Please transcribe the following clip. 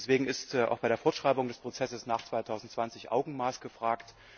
Deswegen ist auch bei der Fortschreibung des Prozesses nach 2020 Augenmaß gefragt.